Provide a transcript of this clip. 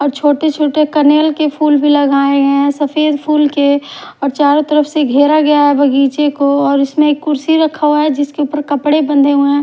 छोटे छोटे कनेल के फूल भी लगाए हैं सफेद फूल के और चारों तरफ से घेरा गया है बगीचे को और इसमें कुर्सी रखा हुआ है जिसके ऊपर कपड़े बंधे हुए हैं।